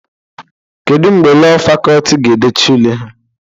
Kedu mgbe Lọọ Fakọlti ga-edecha ule ha?